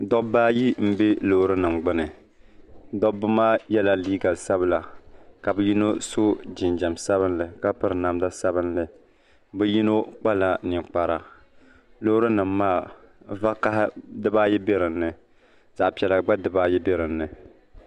Dobba ayi m bɛ loori nima gbini dobba maa yela liiga sabla ka bɛ yino so jinjiɛm sabinli ka piri namda sabinli bɛ yino kpala ninkpara loori nima maa vakaha dibaayi biɛla dinni zaɣa piɛla gba dibaayi be dinni.